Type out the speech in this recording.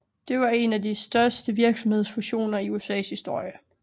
Det var en af de største virksomhedsfusioner i USAs historie